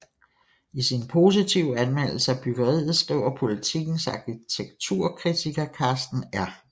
I sin positive anmeldelse af byggeriet skriver Politikens arkitekturkritiker Karsten R